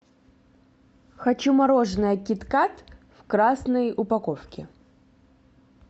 хочу мороженое кит кат в красной упаковке